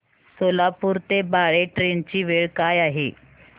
सोलापूर ते बाळे ट्रेन ची वेळ काय आहे